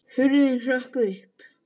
Hurðin hrökk upp!